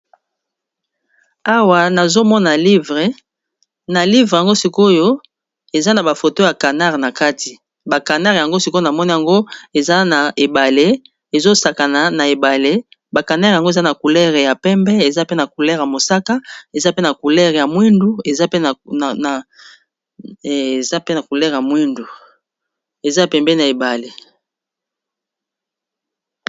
Awa nazomona livre. Na livre yango sikoyo eza na bafoto ya canare na kati. Ba canare yango sikoyo, namoni yango eza na ebale ezo sakana na ebale. Ba canere yango eza na coulere ya pembe, eza pe na coulere ya mosaka, ya mwindu. Eza pembeni na ebale.